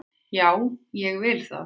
Já, ég vil það.